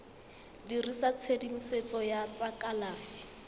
dirisa tshedimosetso ya tsa kalafi